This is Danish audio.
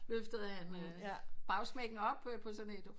Løftede han bagsmækken op på sådan et